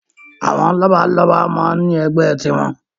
Àwọn lọ́balọ́ba máa ń ní ẹgbẹ́ tiwọn.